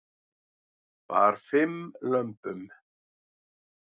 Bar fimm lömbum